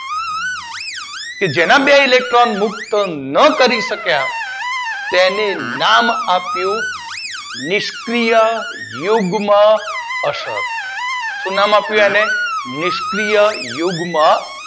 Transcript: કે જેના બે ઇલેક્ટ્રોન મુક્ત ના કરી શક્યા તેને નામ આપ્યું નિષ્ક્રીય યુગ્મ અસર. શું નામ આપ્યું? નિષ્ક્રીય યુગ્મ અસર